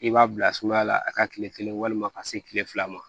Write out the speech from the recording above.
I b'a bila suguya la a ka kile kelen walima ka se kile fila ma